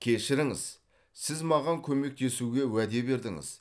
кешіріңіз сіз маған көмектесуге уәде бердіңіз